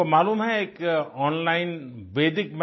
आपको मालूम है एक ओनलाइन वेदिक